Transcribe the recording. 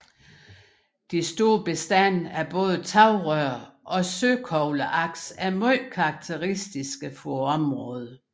De store bestande af både tagrør og søkogleaks er meget karakteristiske for området